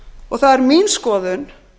og það er mín skoðun